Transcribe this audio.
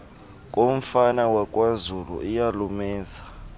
komfana wakwazulu iyalumeza